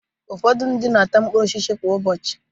Ụfọdụ ndị mmadu na-ata mkpụrụ osisi kwa ụbọchị.